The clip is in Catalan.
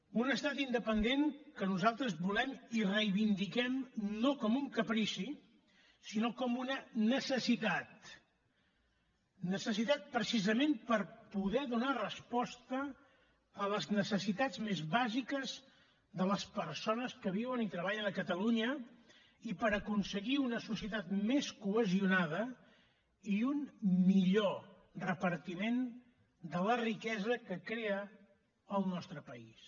un estat independent que nosaltres volem i reivindiquem no com un caprici sinó com una necessitat necessitat precisament per poder donar resposta a les necessitats més bàsiques de les persones que viuen i treballen a catalunya i per aconseguir una societat més cohesionada i un millor repartiment de la riquesa que crea el nostre país